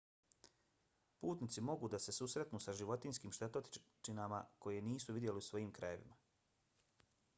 putnici mogu da se susretnu sa životinjskim štetočinama koje nisu vidjeli u svojim krajevima